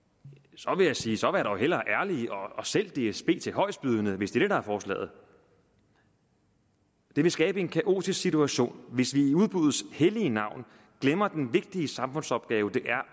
så vil jeg sige så vær dog hellere ærlige og sælg dsb til højestbydende hvis det er det der er forslaget det vil skabe en kaotisk situation hvis vi i udbuddets hellige navn glemmer den vigtige samfundsopgave det er